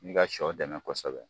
Ni ka sɔ dɛmɛ kosɛbɛ